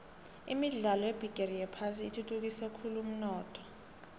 imidlalo yebigixi yephasi ithuthukise khulvumnotho